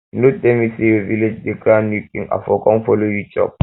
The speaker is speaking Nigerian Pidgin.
you no tell me say your village dey crown new king i for come follow you chop